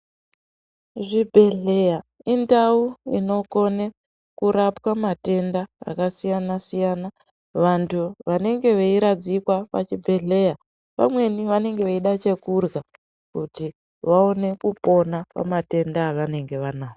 Zvibhedhleya indau inokone kurapwa matenda akasiyana siyana. Vantu vanenge veiradzikwa pachibhedhleya, pamweni vanenge veida chekurya kuti vaone kupona pamatenda avanenge vanawo.